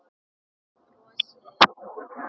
Ég brosi út að eyrum.